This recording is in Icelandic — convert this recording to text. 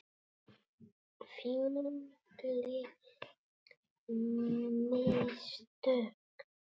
Fínleg mistök.